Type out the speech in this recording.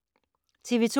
TV 2